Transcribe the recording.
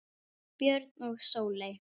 Björn og Sóley.